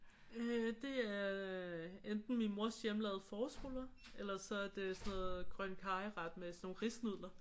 Øh det er enten min mors hjemmelavede forårsruller ellers så er det grøn karry med sådan nogle risnudler